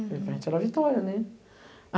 Porque a gente era a vitória, né?